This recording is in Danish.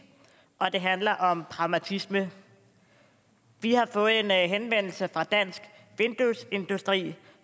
og det handler om pragmatisme vi har fået en henvendelse fra dansk vinduesindustri